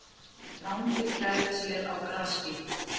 Rándýr gæða sér á grasbít.